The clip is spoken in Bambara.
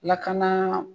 Lakana